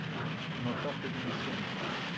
натаху денисенко